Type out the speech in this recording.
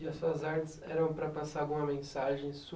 E as suas artes eram para passar alguma mensagem sua?